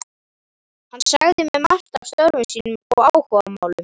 Hann sagði mér margt af störfum sínum og áhugamálum.